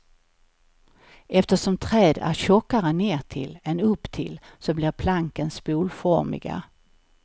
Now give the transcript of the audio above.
Eftersom träd är tjockare nertill än upptill så blir planken spolformiga.